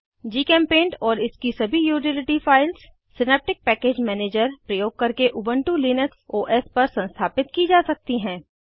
जीचेम्पेंट और इसकी सभी utility files synaptic package manager प्रयोग करके उबन्टु लिनक्स ओएस पर संस्थापित की जा सकती हैं